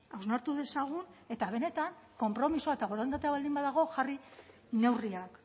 hausnartu dezagun eta benetan konpromisoa eta borondatea baldin badago jarri neurriak